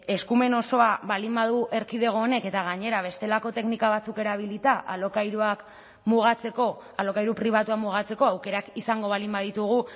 eskumen osoa baldin badu erkidego honek eta gainera bestelako teknika batzuk erabilita alokairuak mugatzeko alokairu pribatua mugatzeko aukerak izango baldin baditugu